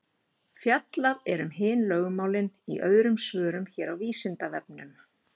Fjallað er um hin lögmálin í öðrum svörum hér á Vísindavefnum.